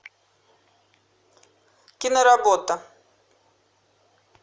киноработа